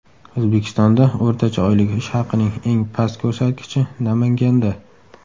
O‘zbekistonda o‘rtacha oylik ish haqining eng past ko‘rsatkichi Namanganda.